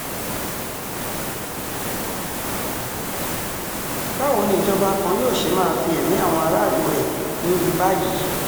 báwo ni ìjọba kan yóò ṣe máa fi ẹ̀mí àwọn aráàlú rẹ̀ wewu báyìí